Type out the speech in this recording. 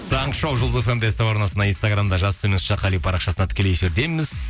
таңғы шоу жұлдыз фм де ств арнасында инстаграмда жас қали парақшасында тікелей эфирдеміз